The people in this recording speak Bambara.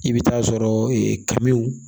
I bɛ taa sɔrɔ e kaw